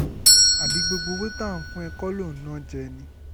àbí gbogbo owó tá à ń fún ẹ kọ́ ló ń ná jẹ ni